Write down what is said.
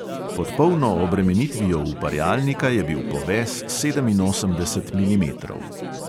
Pod polno obremenitvijo uparjalnika je bil poves sedeminosemdeset milimetrov.